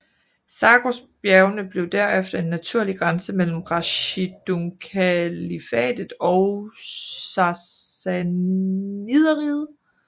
Zagrosbjergene blev derefter en naturlig grænse mellem Rashidunkalifatet og Sassanideriget